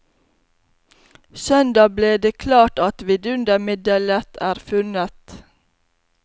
Søndag ble det klart at vidundermiddelet er funnet.